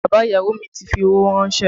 Bàbá ìyàwó mi ti fi owó rànsẹ́